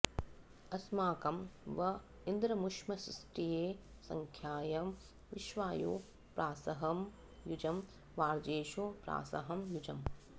अ॒स्माकं॑ व॒ इन्द्र॑मुश्मसी॒ष्टये॒ सखा॑यं वि॒श्वायुं॑ प्रा॒सहं॒ युजं॒ वाजे॑षु प्रा॒सहं॒ युज॑म्